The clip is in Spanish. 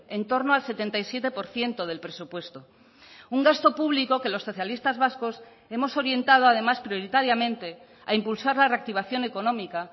en torno al setenta y siete por ciento del presupuesto un gasto público que los socialistas vascos hemos orientado además prioritariamente a impulsar la reactivación económica